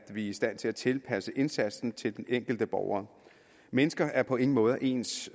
i stand til at tilpasse indsatsen til den enkelte borger mennesker er på ingen måde ens